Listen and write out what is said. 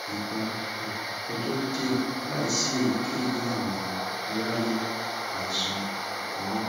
iba um ojo diẹ laisi eyikeyi ami ara le aisan akoran